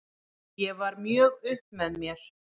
Ég var mjög upp með mér.